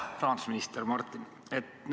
Hea rahandusminister Martin!